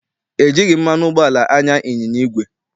E jighị mmanụ ụgbọala anya ịnyịnya igwe.